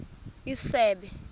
isebe